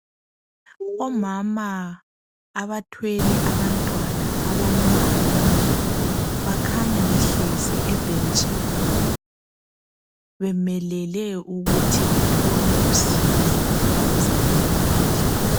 Omama abathwele abantwana abancane bakhanya behlezi ebhentshini bemelele ukuthi bathole usizo kwabezempilakahle.